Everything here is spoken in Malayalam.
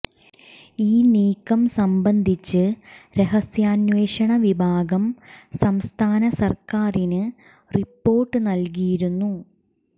ഈ നീക്കം സംബന്ധിച്ച് രഹസ്യാന്വേഷണ വിഭാഗം സംസ്ഥാന സര്ക്കാറിന് റിപ്പോര്ട്ട് നല്കിയിരുന്നു